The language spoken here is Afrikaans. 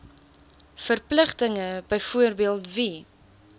verpligtinge byvoorbeeld wie